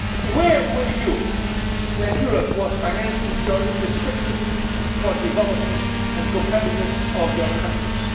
Where were you when Europe was financing your infrastructures for the development and competitiveness of your countries?